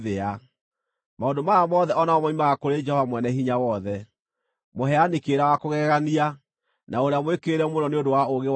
Maũndũ maya mothe o namo moimaga kũrĩ Jehova Mwene-Hinya-Wothe, mũheani kĩrĩra wa kũgegania, na ũrĩa mwĩkĩrĩre mũno nĩ ũndũ wa ũũgĩ wake mũnene.